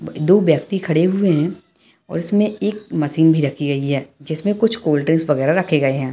ब-दो व्यक्ति खड़े हुए हैं और उसमें एक मशीन भी रखी गई है जिसमें कुछ कोल्ड-ड्रिंक्स वगेरा रखे गए हैं।